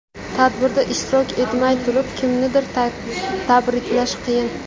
Tadbirda ishtirok etmay turib kimnidir tabriklash qiyin.